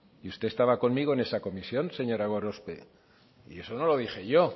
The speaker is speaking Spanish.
y usted estaba conmigo en esa comisión señora gorospe y eso no lo dije yo